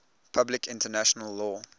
public international law